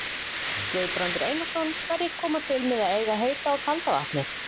Guðbrandur Einarsson: Hverjir koma til með að eiga heita og kalda vatnið?